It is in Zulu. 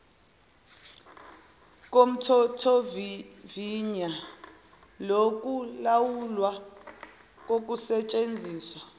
komthethosivivinywa wokulawulwa kokusetshenziswa